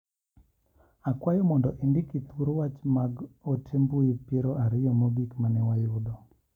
Akwyo mondo indiki thuor wach mag ote mbui piero ariyo mogik mane wayudo.